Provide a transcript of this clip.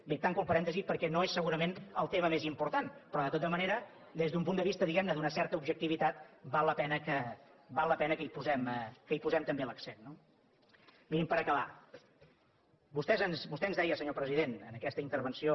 bé tanco el parèntesi perquè no és segurament el tema més important però de tota manera des d’un punt de vista diguem ne d’una certa objectivitat val la pena que hi posem també l’accent no mirin per acabar vostè ens deia senyor president en aquesta intervenció